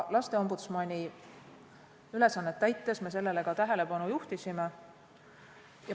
Lasteombudsmani ülesannet täites me sellele ka tähelepanu juhtisime.